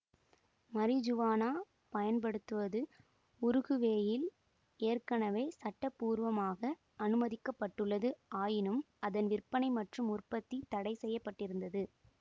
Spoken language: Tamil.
மரிஜுவானா பயன்படுத்துவது உருகுவேயில் ஏற்கனவே சட்டபூர்வமாக அனுமதிக்க பட்டுள்ளது ஆயினும் அதன் விற்பனை மற்றும் உற்பத்தி தடை செய்ய பட்டிருந்தது